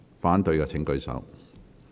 反對的請舉手。